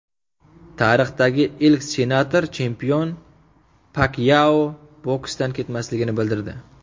Tarixdagi ilk senator-chempion Pakyao boksdan ketmasligini bildirdi.